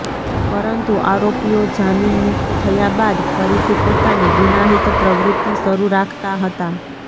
પરંતુ આરોપીઓ જામીનમુક્ત થયા બાદ ફરીથી પોતાની ગુનાહિત પ્રવૃત્તિ શરૂ રાખતા હતાં